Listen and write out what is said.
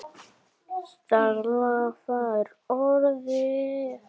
Stella fær orðið.